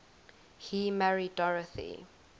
he married dorothy